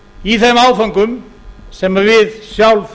í þeim áföngum sem við sjálf